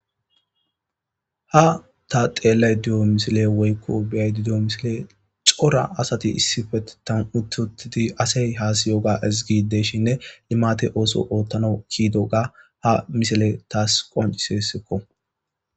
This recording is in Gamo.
Ha ta xeellay diyo misile woykko biyay didiyo misile cora asati issife tan uttotidi asey haasiyoga izgideshinne limate ooso oottano kiidoga ha misile taas qoncisesikko.